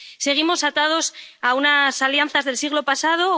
Seguimos atados a unas alianzas del siglo pasado.